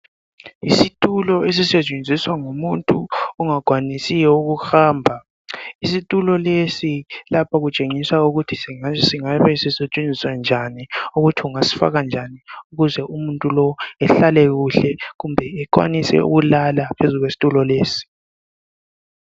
Isitulo esisetshenziswa ngumuntu ongakwanisiyo ukuhamba isitulo lesi lapha kutshengiswa ukuthi singabe sisetshenziswa njani ukuthi ungasifaka njani ukuze umuntu lo ehlale kuhle kumbe ekwanise ukulala phezu kwesitulo lesi.